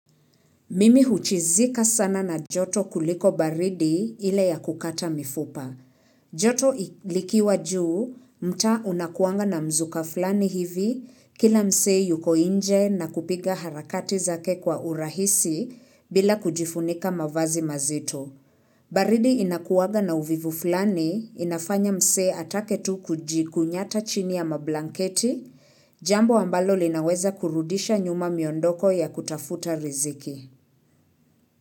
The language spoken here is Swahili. Mimi huchizika sana na joto kuliko baridi ile ya kukata mifupa. Joto likiwa juu, mtaa unakuanga na mzuka fulani hivi, kila msee yuko nje na kupiga harakati zake kwa urahisi bila kujifunika mavazi mazito. Baridi inakuanga na uvivu fulani, inafanya msee atake tu kujikunyata chini ya mablanketi, jambo ambalo linaweza kurudisha nyuma miondoko ya kutafuta riziki.